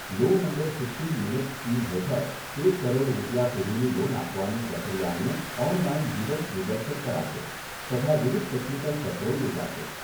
Loan under fifteen minutes scheme હેઠળ એક કરોડ રૂપિયા સુધીની લોન આપવાની પ્રક્રિયાનું ઓનલાઇન જીવંત નિદર્શન કરાશે, તથા વિવિધ ટેકનિકલ સત્રો યોજાશે.